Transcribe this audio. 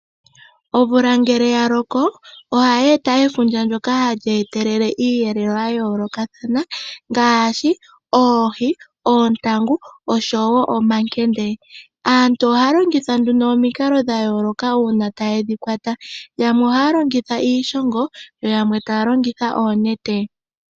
Omvula ngele ya loko, ohayi e ta efundja ndoka hali e telele iiyelelwa ya yoolokathana ngaashi oohi, oontangu oshowo omankende. Aantu ohaya longitha nduno omikalo dha yooloka uuna taye dhi kwata, yamwe ohaya longitha iishongo, yo yamwe taya longitha oonete.